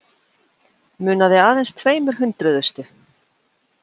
Munaði aðeins tveimur hundruðustu